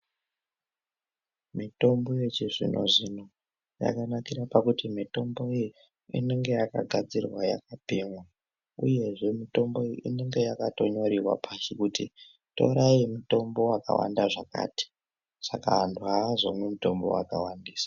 Mitombo ychizvino zvino yakanakira pakuti mitombo iyi inenge yakagadzirwa nemutemo uyezvee mitombo uyu inenge yakatonyoriwa pashi kuti torai mutombo wakawanda zvakati saka